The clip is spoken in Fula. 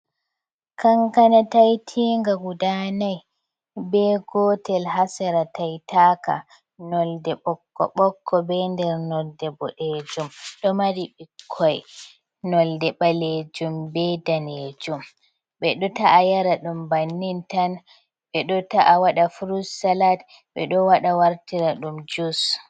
Kankana taitinga guda nai be gotel ha sera taitaka nolde ɓokko ɓokko be nder nolde boɗejum ɗo mari ɓikkoi nolde ɓalejum be danejum ɓeɗo ta’a yara ɗum bannin tan, ɓeɗo ta’a waɗa furut salat, ɓeɗo waɗa wartira ɗum jus.